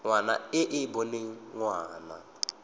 ngwana e e boneng ngwana